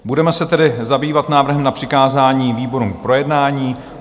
Budeme se tedy zabývat návrhem na přikázání výborům k projednání.